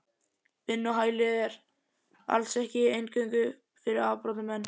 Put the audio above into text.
Vinnuhælið er. alls ekki eingöngu fyrir afbrotamenn.